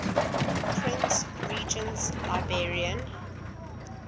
prince regent's librarian